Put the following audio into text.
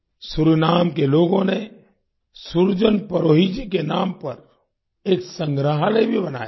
Suriname के लोगों ने सुरजन परोही जी के नाम पर एक संग्रहालय भी बनाया है